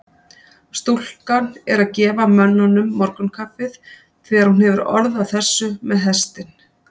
Stúlkan er að gefa mönnunum morgunkaffið þegar hún hefur orð á þessu með hestinn.